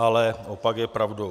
Ale opak je pravdou.